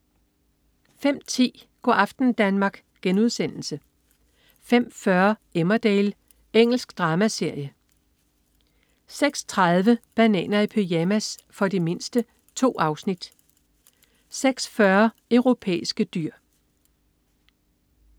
05.10 Go' aften Danmark* 05.40 Emmerdale. Engelsk dramaserie 06.30 Bananer i pyjamas. For de mindste. 2 afsnit 06.40 Europæiske dyr